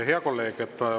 Hea kolleeg!